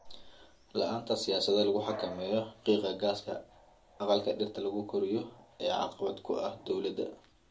La'aanta siyaasado lagu xakameynayo qiiqa gaaska aqalka dhirta lagu koriyo ayaa caqabad ku ah dowladda.